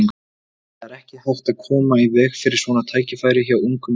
Það er ekki hægt að koma í veg fyrir svona tækifæri hjá ungum leikmanni.